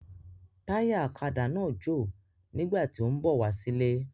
Táyà ọ̀kadà náà jò nígbà tí ó ń bọ̀ wá sílé